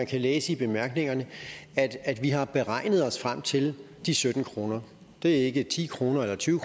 kan læse i bemærkningerne at vi har beregnet os frem til de sytten kroner det er ikke ti kroner eller tyve